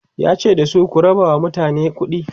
yace da su "ku rabawa mutane kuɗi!"